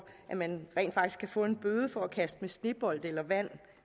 at man rent faktisk kan få en bøde for at kaste med snebolde eller vand